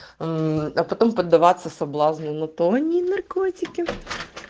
а потом поддаваться соблазну на то они и наркотики